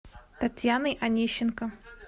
татьяной онищенко